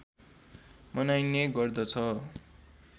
मनाइने गर्दछ